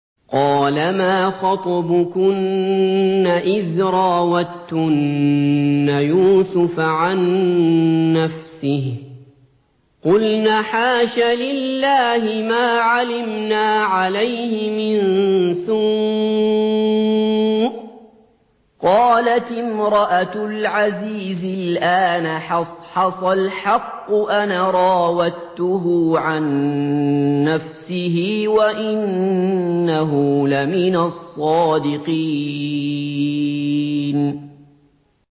قَالَ مَا خَطْبُكُنَّ إِذْ رَاوَدتُّنَّ يُوسُفَ عَن نَّفْسِهِ ۚ قُلْنَ حَاشَ لِلَّهِ مَا عَلِمْنَا عَلَيْهِ مِن سُوءٍ ۚ قَالَتِ امْرَأَتُ الْعَزِيزِ الْآنَ حَصْحَصَ الْحَقُّ أَنَا رَاوَدتُّهُ عَن نَّفْسِهِ وَإِنَّهُ لَمِنَ الصَّادِقِينَ